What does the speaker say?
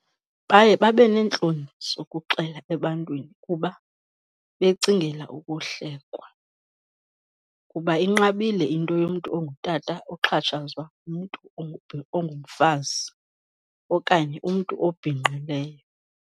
Baye babe neentloni zokuxela ebantwini kuba becingela ukuhlekwa, kuba inqabile into yomntu ongutata oxhatshazwa ngumntu ongumfazi okanye umntu obhinqileyo.